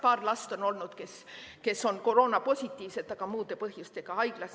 Paar last on olnud sellised, kes on koroonapositiivsed, aga muude põhjustega haiglas.